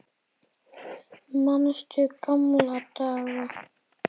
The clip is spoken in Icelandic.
Manstu gamla daga?